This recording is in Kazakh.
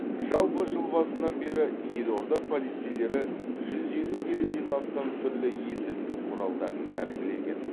жалпы жыл басынан бері елорда полицейлері жүз елу келіден астам түрлі есірткі құралдарын тәркілеген